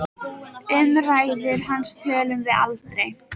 Um ræður hans tölum við aldrei.